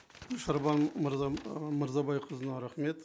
шарбан ы мырзабайқызына рахмет